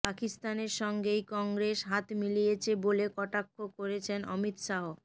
পাকিস্তানের সঙ্গেই কংগ্রেস হাত মিলিয়েছে বলে কটাক্ষ করেছেন অমিত শাহ